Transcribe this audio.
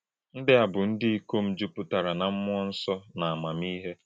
Ndị́ à bụ̄ ndị́ ìkòm jùpùtárà̄ na mmúọ̄ nsọ̄ na àmámíhè̄.